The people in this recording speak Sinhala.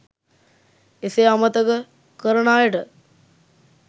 එසේ අමතක කරන අයට